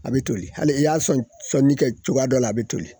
A be toli. Hali i y'a sɔn sɔnni kɛ cogoya dɔ la a be toli.